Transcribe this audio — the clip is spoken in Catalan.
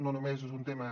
no només és un tema